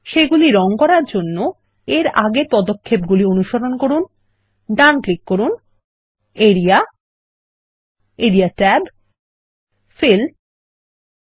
সেগুলি রঙ করার জন্য এর আগের একই পদক্ষেপগুলি অনুসরণ করুন ডান ক্লিক করুন area area tab fill colour turquoise 1 দিয়ে